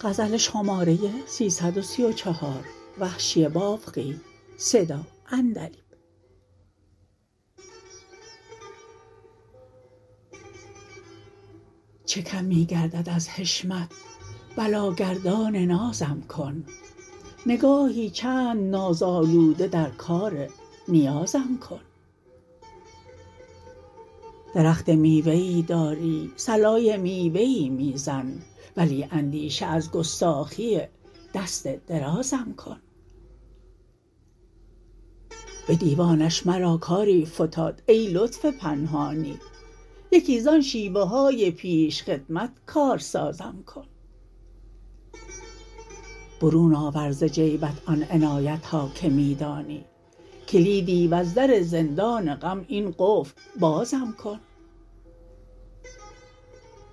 چه کم می گردد از حشمت بلاگردان نازم کن نگاهی چند ناز آلوده در کار نیازم کن درخت میوه ای داری صلای میوه ای میزن ولی اندیشه از گستاخی دست درازم کن به دیوانش مرا کاری فتاد ای لطف پنهانی یکی زان شیوه های پیش خدمت کار سازم کن برون آور ز جیبت آن عنایتها که می دانی کلیدی وز در زندا ن غم این قفل بازم کن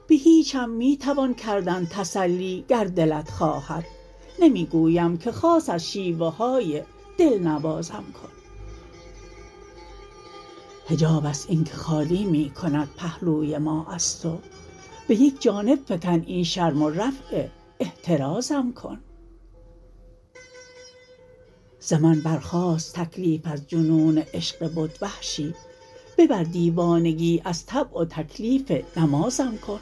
به هیچم می توان کردن تسلی گر دلت خواهد نمی گویم که خاص از شیوه های دلنوازم کن حجابست اینکه خالی می کند پهلوی ما از تو به یک جانب فکن این شرم و رفع احترازم کن ز من برخاست تکلیف از جنون عشق بت وحشی ببر دیوانگی از طبع و تکلیف نمازم کن